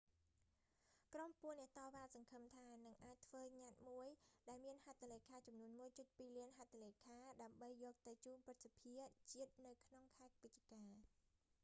ក្រុមពួកអ្នកតវ៉ាសង្ឃឹមថានឹងអាចធ្វើញត្តិមួយ ដែលមានហត្ថលេខាចំនួន 1.2 លានហត្ថលេខា ដើម្បីយកទៅជូនព្រឹទ្ធសភាជាតិ នៅក្នុងខែវិច្ឆិកា